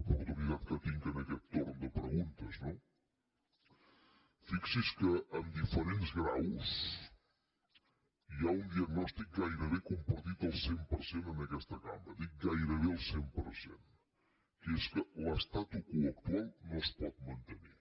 oportunitat que tinc en aquest torn de preguntes no fixi’s que amb diferents graus hi ha un diagnòstic gairebé compartit al cent per cent en aquesta cambra dic gairebé el cent per cent que és que l’statu quo actual no es pot mantenir